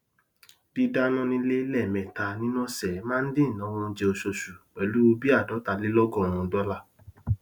dídáná nílé lẹẹmẹta nínú ọsẹ máa n dín ináwó oúnjẹ oṣooṣù pẹlú bíi ààdọtalélọgọrùn dọlà